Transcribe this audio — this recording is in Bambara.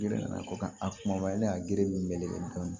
Giriya nana ko ka a kumabaya la a giriw bɛ dɔn